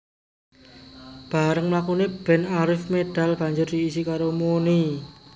Barèng mlakune band Arif medal banjur diisi karo Muny